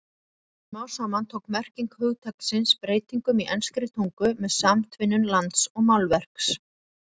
Smám saman tók merking hugtaksins breytingum í enskri tungu með samtvinnun lands og málverks.